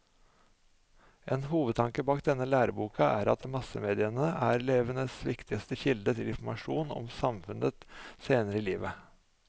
En hovedtanke bak denne læreboka er at massemediene er elevenes viktigste kilde til informasjon om samfunnet senere i livet.